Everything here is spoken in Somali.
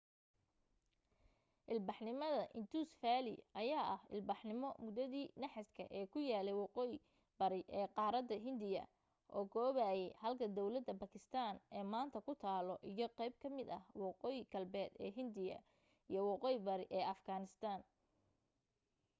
ilbaxnimada indus valley ayaa ahaa ilbaxnimo muddadii naxaaska ee ku yaalay waqooyi bari ee qaarada hindiga oo koobayay halka dawladda baakistaan ee maaanta ku taalo iyo qayb ka mid ah waqooyi galbeed ee hindiya iyo waqooyi bari ee afghanistan